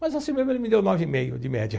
Mas assim mesmo ele me deu nove e meio de média.